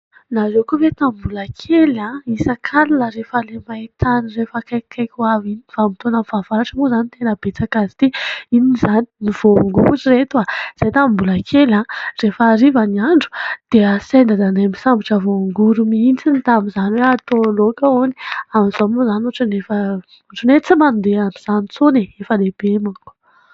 Nareo koa ve tamin'ny mbola kely a isak 'alina rehefa le maitany refa akaikikaiky ho avy ny vanimpotoanan' ny fahavaratra moa izany tena betsaka azy ity inona izany ny voangory ry reto a; izay tamin'ny mbola kely a rehefa hariva ny andro dia asain I dadanay misambotra voangory miintsiny, tamin'izany hoe atao loka hony, amin'izao moa izany hoatran' ny hoe tsy mandeha amin' izany itsony e efa lehibe manko .